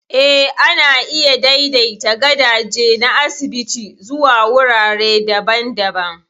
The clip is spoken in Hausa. Eh, ana iya daidaita gadaje na asibiti zuwa wurare daban-daban.